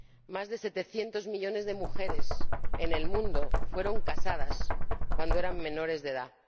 Más de 700 millones de mujeres en el mundo fueron casadas cuando eran menores de edad.